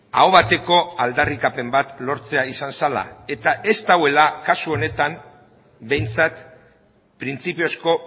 aho bateko aldarrikapen bat lortzea izan zela eta ez dagoela kasu honetan behintzat printzipiozko